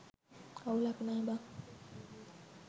අවුලක් නෑ බන්